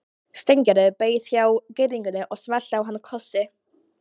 Steingerður beið hjá girðingunni og smellti á hann kossi.